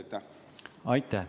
Aitäh!